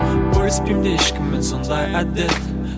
бөліспеймін де ешкіммен сондай әдет